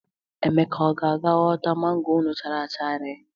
Emeka, ọ ga-aga ghọta mangoro unu chara acha ree?